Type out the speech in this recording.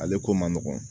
Ale ko man nɔgɔn